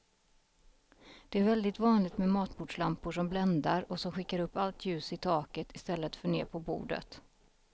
Det är väldigt vanligt med matbordslampor som bländar och som skickar upp allt ljus i taket i stället för ner på bordet.